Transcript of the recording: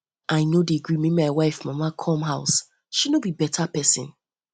i no dey gree make my wife mama come my house she no be better pesin